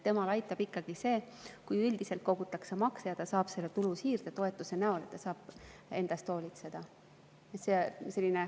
Teda aitab ikkagi see, kui üldiselt kogutakse makse ja ta saab vajaliku raha siirdetoetuse näol, ta saab enda eest hoolitseda.